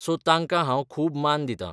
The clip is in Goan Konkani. सो तांकां हांव खूब मान दितां.